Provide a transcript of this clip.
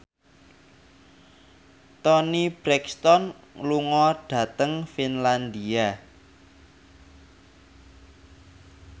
Toni Brexton lunga dhateng Finlandia